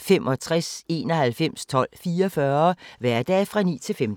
65 91 12 44, hverdage 9-15.